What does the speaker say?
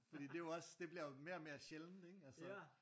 Fordi det er jo også det bliver jo mere og mere sjældent ikke altså